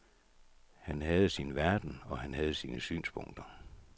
Han havde sin verden, og han havde sine synspunkter.